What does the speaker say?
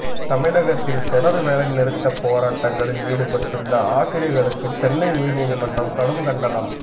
தமிழகத்தில் தொடர் வேலைநிறுத்த போராட்டங்களில் ஈடுபட்டுள்ள ஆசிரியர்களுக்கு சென்னை உயர்நீதிமன்றம் கடும் கண்டனம்